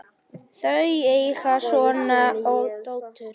Þau eiga son og dóttur.